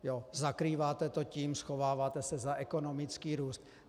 Zakrýváte to tím, schováváte se za ekonomický růst.